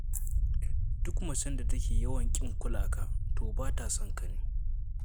Duk macen da take yawan ƙin kula ka, to ba ta son ka ne.